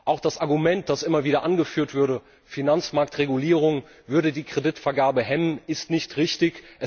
Auch das Argument, das immer wieder angeführt wird, Finanzmarktregulierung würde die Kreditvergabe hemmen, ist nicht richtig.